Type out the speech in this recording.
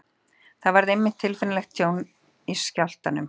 Þar varð einmitt tilfinnanlegt tjón í skjálftanum.